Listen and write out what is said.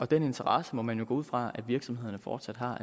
den interesse må man jo gå ud fra at virksomhederne fortsat har